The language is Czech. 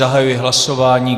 Zahajuji hlasování.